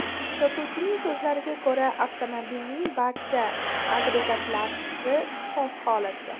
Sotuvchining so‘zlariga ko‘ra, avtomobilning barcha agregatlari soz holatda.